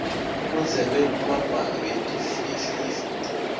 kundzebe yelubumbano yefifa